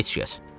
Heç kəs.